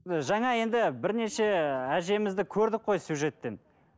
жаңа енді бірнеше ы әжемізді көрдік қой сюжеттен